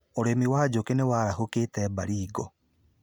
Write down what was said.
ũrĩmi wa njũkĩ nĩwarahũkĩte Baringo